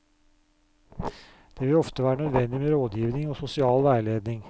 Det vil ofte være nødvendig med rådgivning og sosial veiledning.